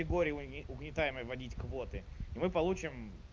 угнетай вводить квоты мы получим